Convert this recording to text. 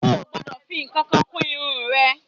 O ò gbọ́dọ̀ fi ǹkankan kún irun rẹ